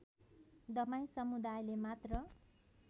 दमाई समुदायले मात्र